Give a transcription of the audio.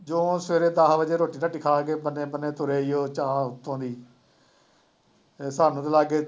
ਜਿਉਂ ਸਵੇਰੇ ਦਸ ਵਜੇ ਰੋਟੀ ਰਾਟੀ ਖਾ ਕੇ ਬੰਨੇ ਬੰਨੇ ਤੁਰੇ ਉਹ ਚਾਹ ਉੱਥੋ ਦੀ ਸਾਨੂੰ ਤਾਂ ਲੱਗ ਗਏ